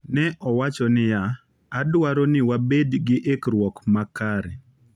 Ne owacho niya: “Wadwaro ni wabed gi ikruok ma kare.”